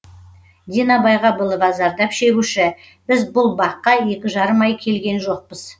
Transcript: дина байғабылова зардап шегуші біз бұл баққа екі жарым ай келген жоқпыз